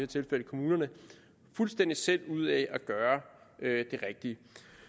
tilfælde kommunerne fuldstændig selv ud af at gøre det rigtige